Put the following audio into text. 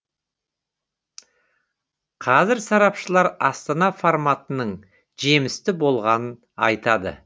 қазір сарапшылар астана форматының жемісті болғанын айтады